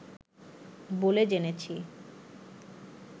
বলে জেনেছি